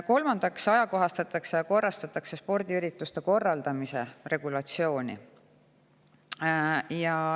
Kolmandaks ajakohastatakse ja korrastatakse spordiürituste korraldamise regulatsiooni.